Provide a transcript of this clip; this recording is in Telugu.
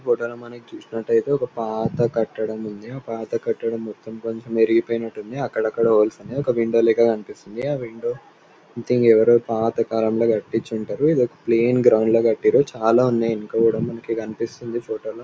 ఈ ఫొటోలో మనం చూసుకున్నట్టయితే ఒక పాత కట్టడం ఉంది. ఆ పాత కట్టడం మొత్తం కొంచం ఇరిగిపోయినట్టుంది అక్కడక్కడా హోల్స్ అనేవి ఒక విండో లెక్క కనిపిస్తుంది ఆ విండో సొమెథింగ్ ఎవరో పాత కాలంలో కట్టించుంటారు ఇదొక ప్లైన్ గ్రౌండ్ లో కట్టిండ్రు చాలా ఉన్నాయ్ ఎనక కూడా మనకి కనిపిస్తుంది ఈ ఫొటో లో .